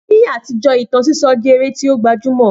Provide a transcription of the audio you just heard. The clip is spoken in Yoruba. Ni àtijọ́, ìtàn sísọ jẹ́ eré tí ó gbajúmọ̀